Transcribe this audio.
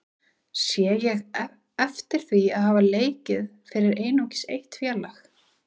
Sé ég heftir því að hafa leikið fyrir einungis eitt félag?